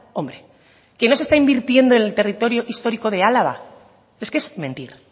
hombre que no se está invirtiendo en el territorio histórico de álava es que es mentir